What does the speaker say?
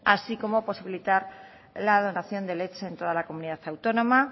así como posibilitar la donación de leche en toda la comunidad autónoma